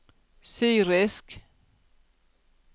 syrisk